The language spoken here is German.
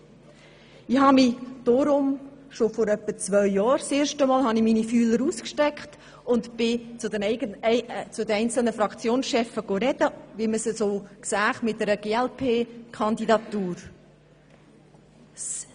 Ich habe deshalb bereits vor etwa zwei Jahren meine Fühler ausgestreckt und habe in den verschiedenen Fraktionen nachgefragt, wie man denn zu einer glp-Kandidatur stünde.